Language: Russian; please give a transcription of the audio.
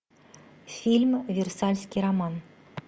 фильм версальский роман